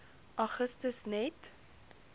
augustus net